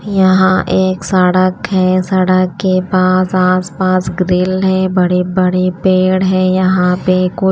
यहां एक सड़क है। सड़क के पास आसपास ग्रिल है। बड़े बड़े पेड़ हैं यहां पे कुछ--